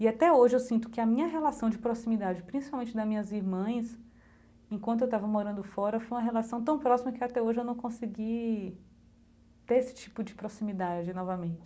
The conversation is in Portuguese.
E até hoje eu sinto que a minha relação de proximidade, principalmente das minhas irmãs, enquanto eu estava morando fora, foi uma relação tão próxima que até hoje eu não consegui ter esse tipo de proximidade novamente.